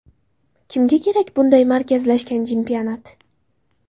Kimga kerak bunday markazlashgan chempionat?